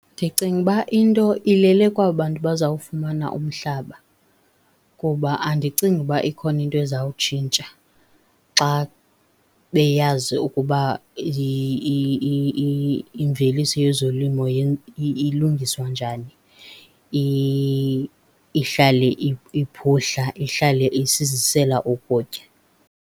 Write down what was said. Ndicinga uba into ilele kwaba bantu bazawufumana umhlaba ngoba andicingi uba ikhona into ezawutshintsha xa beyazi ukuba imveliso yezolimo ilungiswa njani ihlale iphuhla, ihlale isizisela ukutya.